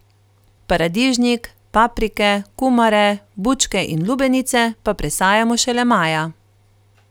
Paradižnik, paprike, kumare, bučke in lubenice pa presajamo šele maja.